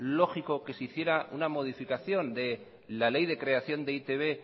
lógico que se hiciera una modificación de la ley de creación de e i te be